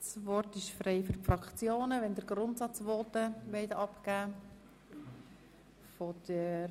Das Wort ist frei für die Fraktionen, wenn Sie Grundsatzvoten abgeben möchten.